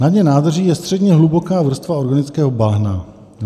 Na dně nádrží je středně hluboká vrstva organického bahna.